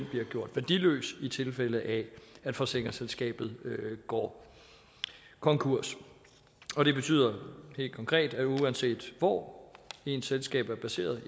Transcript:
bliver gjort værdiløs i tilfælde af at forsikringsselskabet går konkurs og det betyder helt konkret at uanset hvor ens selskab er placeret